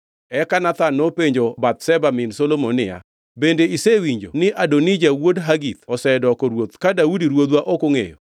Eka Nathan nopenjo Bathsheba min Solomon niya, “Bende isewinjo ni Adonija wuod Hagith osedoko Ruoth ka Daudi ruodhwa ok ongʼeyo?